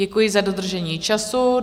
Děkuji za dodržení času.